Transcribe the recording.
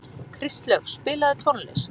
Kristlaug, spilaðu tónlist.